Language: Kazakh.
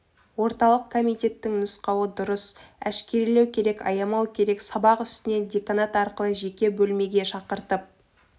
орталық комитеттің нұсқауы дұрыс әшкерелеу керек аямау керек сабақ үстінен деканат арқылы жеке бөлмеге шақыртып